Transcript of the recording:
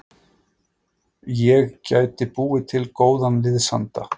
Ég gæti búið til góðan liðsanda.